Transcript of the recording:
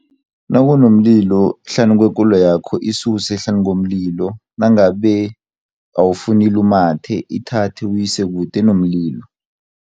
Nakunomlilo hlanu kwekoloyakho isuse hlanukomlilo, nangabe awufuni ilumathe ithathe uyisekude nomlilo.